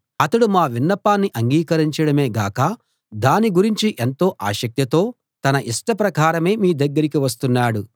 అతడు మా విన్నపాన్ని అంగీకరించడమే గాక దాని గురించి ఎంతో ఆసక్తితో తన ఇష్టప్రకారమే మీ దగ్గరికి వస్తున్నాడు